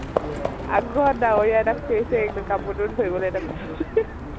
আগত আৰু বিছাৰিলো, কাপোৰ তো ধৰিবলৈ তাৰ পিছত